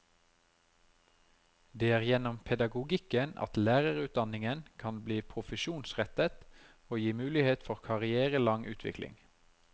Det er gjennom pedagogikken at lærerutdanningen kan bli profesjonsrettet og gi mulighet for karrierelang utvikling.